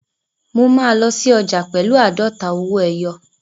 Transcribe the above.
Mo máa lọ sí ọjà pẹ̀lú àádọ́ta owó ẹyọ.